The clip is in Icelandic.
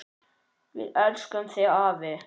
Við elskum þig afi!